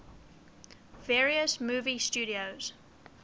various movie studios